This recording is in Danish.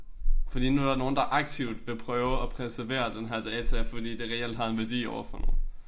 Fordi nu der nogen der aktivt vil prøve at præservere den her data fordi det reelt har en værdi overfor nogen